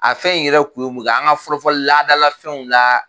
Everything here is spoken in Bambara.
A fɛn in yɛrɛ kun ye mun ye an ka fɔlɔ-fɔlɔ laadadalafɛnw la